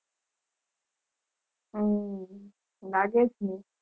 હમ લાગે જ ને